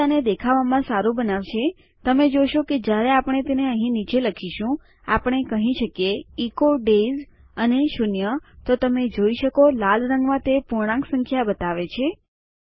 જે આને દેખાવામાં સારું બનાવશે તમે જોશો કે જ્યારે આપણે તેને અહીં નીચે લખીશું આપણે કહી શકીએ ઇકો ડેયઝ અને શૂન્ય તો તમે જોઈ શકો લાલ રંગમાં તે પૂર્ણાંક સંખ્યા દર્શાવે છે